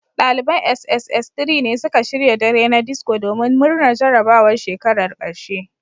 Daliban sss3 ne suka shirya dare na disco domin murnar jarabawar shekarar karshe